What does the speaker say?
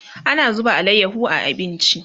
ana zuba alayaho a abinci